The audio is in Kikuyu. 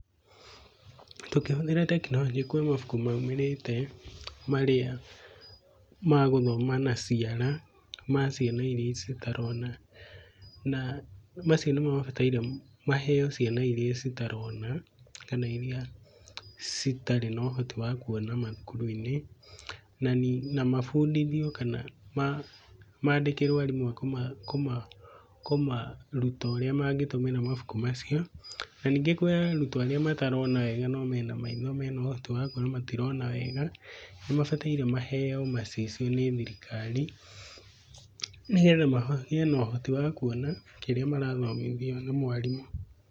Tũkĩhũthĩra teknolojĩ kwĩ mabũkũ maũmĩrĩte, marĩa magũthoma na cĩara ma cĩana ĩrĩa cĩtarona. Na macĩo nĩmo mabatarĩo maheyo cĩana ĩrĩa cĩtarona, kana ĩrĩa cĩtarĩ na ũhotĩ wa kũona mathũkũrũ-ĩnĩ. Na mabũndĩthĩo kana mandĩkĩrwo arĩmũ akũmarũta ũrĩa mangĩtũmĩra mabũkũ macĩo. Nanĩĩngĩ kũrĩa arũtwo arĩa matarona wega, no mena maĩtho menaũhotĩ wakũona matĩrona wega. Nĩmabatarĩo maheyo macĩcĩo nĩ thĩrĩkarĩ. Nĩgetha magĩe na ũhotĩ wa kũona kĩrĩa marathomĩthĩo nĩ mwarĩmũ.